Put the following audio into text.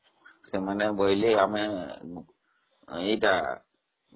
ସେମାନେ ବୋଇଲେ ଆମେ ଏଇଟା..